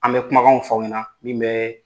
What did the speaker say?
An bɛ kumakanw fɔ aw ɲɛna min bɛ